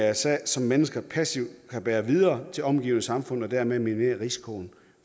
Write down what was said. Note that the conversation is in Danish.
mrsa som mennesker passivt kan bære videre til det omgivende samfund og dermed minimere risikoen